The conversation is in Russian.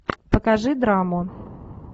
покажи драму